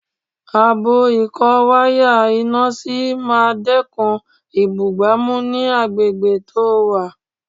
Abọ́ ìkó wáyà iná sí máa dẹ́kun ìbúgbàmù ní agbègbè tó wà